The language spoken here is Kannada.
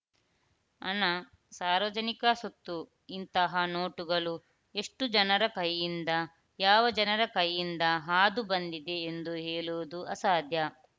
ಹಣ ಸಾರ್ವಜನಿಕ ಸೊತ್ತು ಇಂತಹ ನೋಟುಗಳು ಎಷ್ಟುಜನರ ಕೈಯಿಂದ ಯಾವ ಜನರ ಕೈಯಿಂದ ಹಾದು ಬಂದಿದೆ ಎಂದು ಹೇಳುವುದು ಅಸಾಧ್ಯ